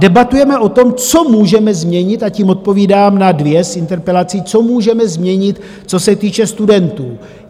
Debatujeme o tom, co můžeme změnit - a tím odpovídám na dvě z interpelací - co můžeme změnit, co se týče studentů.